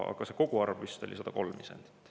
Aga see koguarv vist oli 103 isendit.